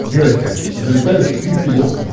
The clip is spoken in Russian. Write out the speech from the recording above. девочка залетают птицы в окна